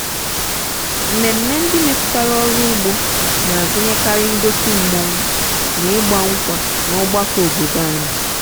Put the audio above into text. mmemme ndị metụtara ọrụ ugbo na-agụnyekarị ngosi mmanwu na ịgba nkwa n'ọgbakọ obodo anyị.